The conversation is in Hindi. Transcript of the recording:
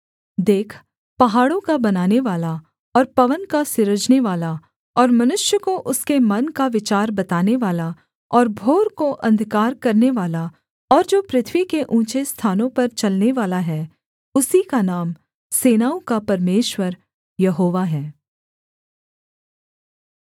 देख पहाड़ों का बनानेवाला और पवन का सिरजनेवाला और मनुष्य को उसके मन का विचार बतानेवाला और भोर को अंधकार करनेवाला और जो पृथ्वी के ऊँचे स्थानों पर चलनेवाला है उसी का नाम सेनाओं का परमेश्वर यहोवा है